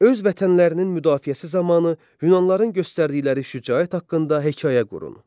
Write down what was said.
Öz vətənlərinin müdafiəsi zamanı Yunanların göstərdikləri şücaət haqqında hekayə qurun.